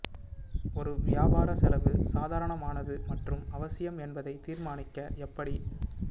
ஒரு வியாபார செலவு சாதாரணமானது மற்றும் அவசியம் என்பதை தீர்மானிக்க எப்படி